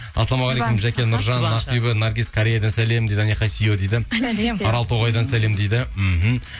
ассалаумағалейкум жәке нұржан ақбибі наргиз кореядан сәлем дейді дейді сәлем аралтоғайдан сәлем дейді мхм